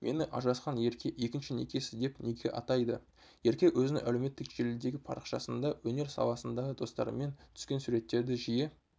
мені ажырасқан ерке екінші некесі деп неге атайды ерке өзінің әлеуметтік желідегіпарақшасында өнер саласындағы достарымен түскен суреттердіжиі